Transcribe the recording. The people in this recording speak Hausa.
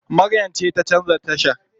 Maryam ce ta canza tashar.